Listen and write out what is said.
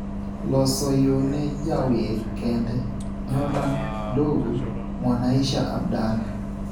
loso yo ne jawer kende, Nyota Ndogo (Mwanaisha Abdallah),